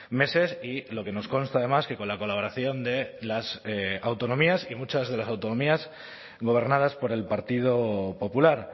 meses y lo que nos consta además que con la colaboración de las autonomías y muchas de las autonomías gobernadas por el partido popular